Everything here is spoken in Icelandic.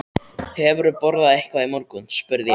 Hefurðu borðað eitthvað í morgun? spurði ég.